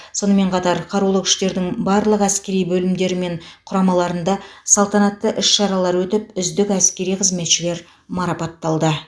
сонымен қатар қарулы күштердің барлық әскери бөлімдері мен құрамаларында салтанатты іс шаралар өтіп үздік әскери қызметшілер марапатталды